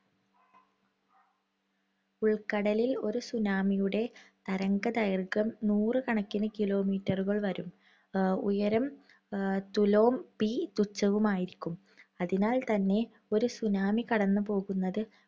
ഉൾക്കടലിൽ ഒരു tsunami യുടെ തരംഗദൈർഘ്യം നൂറുകണക്കിനു kilometer ഉകള്‍ വരും. ഉയരം എഹ് തുലോം p തുച്ഛവുമായിരിക്കും. അതിനാൽ തന്നെ ഒരു tsunami കടന്നുപോകുന്നത്